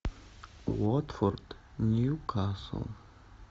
уотфорд ньюкасл